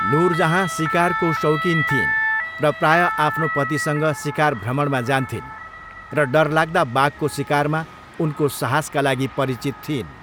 नुरजहाँ सिकारको शौकीन थिइन् र प्रायः आफ्नो पतिसँग सिकार भ्रमणमा जान्थिन् र डरलाग्दा बाघको सिकारमा उनको साहसका लागि परिचित थिइन्।